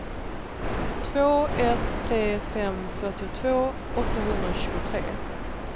två ett tre fem fyrtiotvå åttahundratjugotre